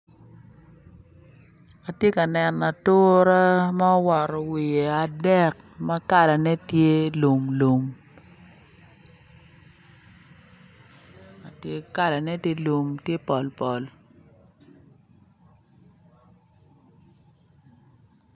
Atye ka neno atura ma owoto wiye adek ma kalane tye lum lum kalane tye pol pol